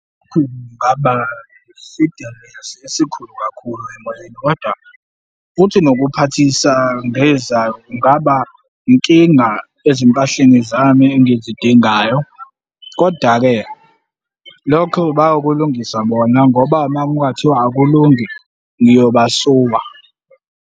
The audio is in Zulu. Kungaba esikhulu kakhulu emoyeni, kodwa futhi nokuphathisa kungaba inkinga ezimpahleni zami engizidingayo, koda-ke lokho bayokulungisa bona ngoba uma kungathiwa akulungi, ngiyobasuwa.